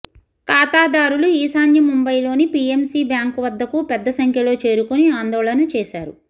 ఖాతాదారులు ఈశాన్య ముంబయిలోని పిఎంసి బ్యాంకు వద్దకు పెద్ద సంఖ్యలో చేరుకుని ఆందోళన చేశారు